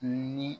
Ni